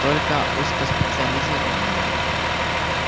только узкоспециализированные